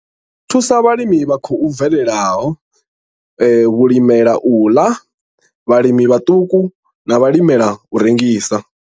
I thusa vhalimi vha khou bvelelaho, vhalimela u ḽa, vhalimi vhaṱuku na vhalimela u rengisa.